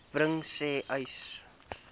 bring sê uys